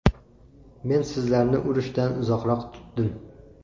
Men sizlarni urushdan uzoqroq tutdim.